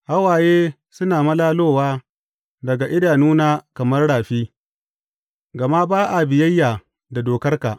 Hawaye suna malalowa daga idanuna kamar rafi, gama ba a biyayya da dokarka.